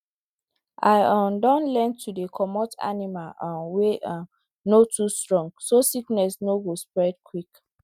i um don learn to dey comot animal um wey um no too strong so sickness no go spread quick